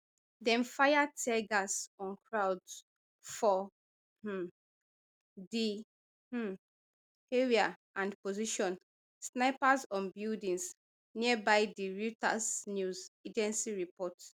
dem fire tear gas on crowds for um di um area and position snipers on buildings nearby di reuters news agency report